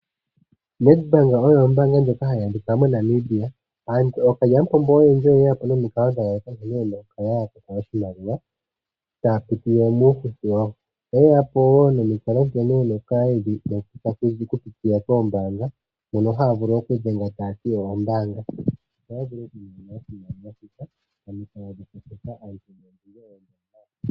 Nedbank oyo ombaanga ndjoka hayi adhika moNamibia. Ookalyamupombo oyendji oyeyapo nomikalo dha yooloka nkene yena okukala yamona oshimaliwa taya pitile muufuthi wawo. Oye yapo woo nomikalo nkene yena okukala yeshi kutha koombaanga mono haya vulu okudhenga tayati oyo ombaanga.